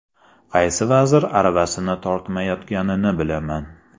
Qaysi vazir aravasini tortmayotganini bilaman.